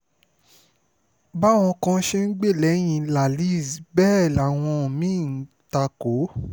báwọn kan ṣe ń gbè sẹ́yìn cs] lallyz bẹ́ẹ̀ làwọn mí-ín ń ta kò ó